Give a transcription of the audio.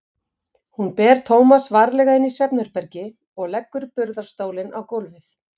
Hún ber Tómas varlega inn í svefnherbergi og leggur burðarstólinn á gólfið.